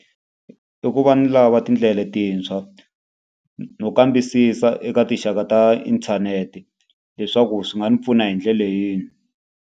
I ku va ni lava tindlela letintshwa no kambisisa eka tinxaka ta inthanete, leswaku swi nga ni pfuna hi ndlela yini.